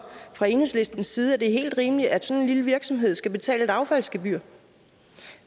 fra enhedslistens side at det er helt rimeligt at sådan en lille virksomhed skal betale et affaldsgebyr